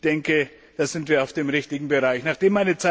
Ich denke, da sind wir auf dem richtigen Weg.